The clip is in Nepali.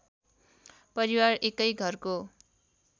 परिवार एकै घरको